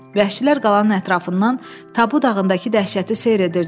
Vəhşilər qalanın ətrafından Tabu dağındakı dəhşəti seyr edirdilər.